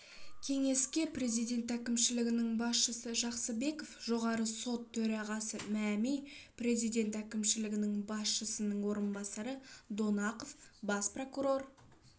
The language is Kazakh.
кеңеске президент әкімшілігінің басшысы жақсыбеков жоғарғы сот төрағасы мәми президент әкімшілігі басшысының орынбасары донақов бас прокурор